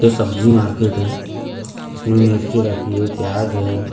ये सब्जी मार्केट है इसमें मिर्ची रखी है प्याज है।